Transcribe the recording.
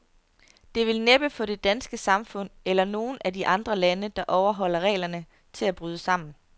Det vil næppe få det danske samfund, eller nogen af de andre lande, der overholder reglerne, til at bryde sammen.